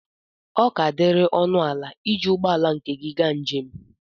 ọ ka diri ọnụ ala iji ụgbọ ala nke gị gaa njem